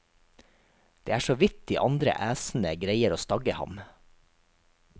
Det er så vidt de andre æsene greier å stagge ham.